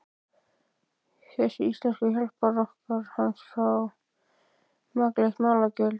Þessir íslensku hjálparkokkar hans fá makleg málagjöld.